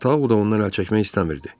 Tao da ondan əl çəkmək istəmirdi.